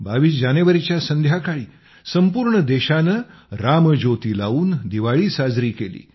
22 जानेवारीच्या संध्याकाळी संपूर्ण देशाने रामज्योती लावून दिवाळी साजरी केली